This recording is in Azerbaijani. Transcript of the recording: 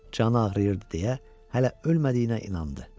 Canı ağrıyırdı deyə hələ ölmədiyinə inandı.